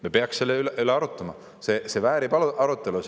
Me peaks selle üle arutama, see väärib arutelu.